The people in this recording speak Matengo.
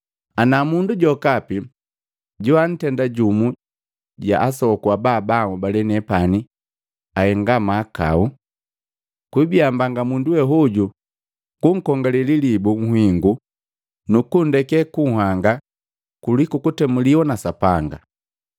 “Ana mundu jokapi joantenda jumu ja asoku aba baanhobalee nepani kuhenga mahakau. Kwiibia mbanga mundu we hoju kunkongale lilibu nhingu nukunndeke kunhanga kuliku kutemuliwa na Sapanga.